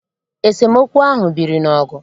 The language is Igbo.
Esemokwu ahụ biri n'ọgụ